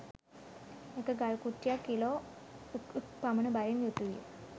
එක ගල් කුට්ටියක් කිලෝ ක් ක් පමණ බරින් යුතුවිය